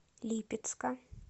липецка